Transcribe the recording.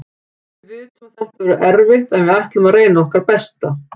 Við vitum að þetta verður erfitt en við ætlum að reyna okkar besta.